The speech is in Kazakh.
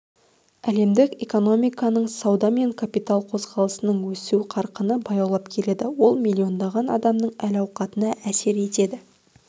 әлемдік экономиканың сауда мен капитал қозғалысының өсу қарқыны баяулап келеді ол миллиондаған адамның әл-ауқатына әсер етеді